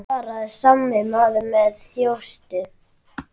svaraði sami maður með þjósti.